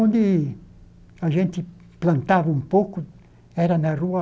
Onde a gente plantava um pouco era na rua...